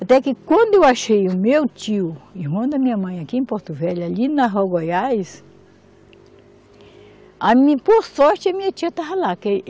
Até que quando eu achei o meu tio, irmão da minha mãe, aqui em Porto Velho, ali na Rua Goiás, a mi, por sorte a minha tia estava lá que.